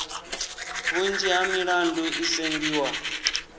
vhunzhi ha milandu i sengiwa